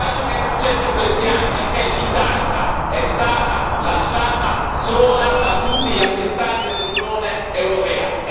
Quello che è successo in questi anni è che l'Italia è stata lasciata sola da tutti gli altri Stati dell'Unione europea.